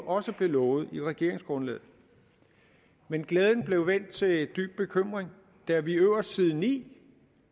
også blev lovet i regeringsgrundlaget men glæden blev vendt til dyb bekymring da vi øverst på side ni